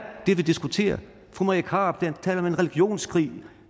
det vi diskuterer fru marie krarup taler om en religionskrig